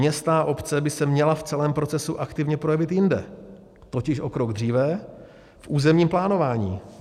Města a obce by se měla v celém procesu aktivně projevit jinde, totiž o krok dříve, v územním plánování.